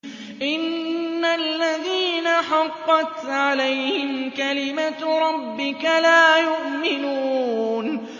إِنَّ الَّذِينَ حَقَّتْ عَلَيْهِمْ كَلِمَتُ رَبِّكَ لَا يُؤْمِنُونَ